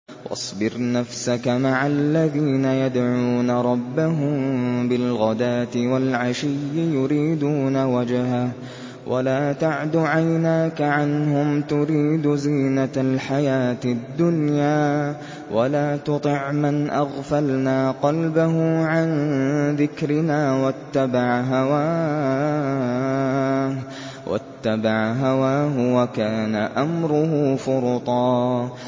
وَاصْبِرْ نَفْسَكَ مَعَ الَّذِينَ يَدْعُونَ رَبَّهُم بِالْغَدَاةِ وَالْعَشِيِّ يُرِيدُونَ وَجْهَهُ ۖ وَلَا تَعْدُ عَيْنَاكَ عَنْهُمْ تُرِيدُ زِينَةَ الْحَيَاةِ الدُّنْيَا ۖ وَلَا تُطِعْ مَنْ أَغْفَلْنَا قَلْبَهُ عَن ذِكْرِنَا وَاتَّبَعَ هَوَاهُ وَكَانَ أَمْرُهُ فُرُطًا